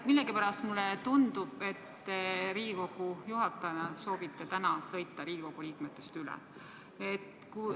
Millegipärast tundub mulle, et te Riigikogu juhatajana soovite täna Riigikogu liikmetest üle sõita.